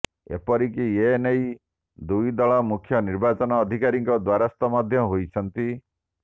ଏପରିକି ଏନେଇ ଦୁଇ ଦଳ ମୁଖ୍ୟ ନିର୍ବାଚନ ଅଧିକାରୀଙ୍କ ଦ୍ବାରସ୍ଥ ମଧ୍ୟ ହୋଇଛନ୍ତି